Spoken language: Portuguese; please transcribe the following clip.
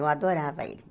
Eu adorava ele.